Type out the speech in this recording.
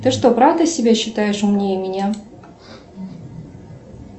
ты что правда себя считаешь умнее меня